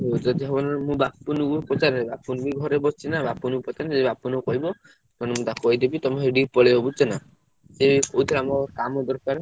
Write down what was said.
ଯଦି ହବ ନହେଲେ ମୁଁ ବପୁଲ କୁ ପଚାରେ। ବପୁଲ ବି ଘରେ ବସିଛି ନାଁ ବପୁଲ କୁ ପଚାରେ ବପୁଲ କହିବ, ତ ମୁ ତାକୁ କହିଦେବି ତମ ସେଠି ପଳେଇବ ବୁଝୁଛ ନାଁ ସିଏ ବି କହୁଥିଲା ମୋର କାମ ଦରକାର।